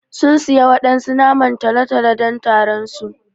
Sun siya waɗansu naman tolo-tolo don taron su.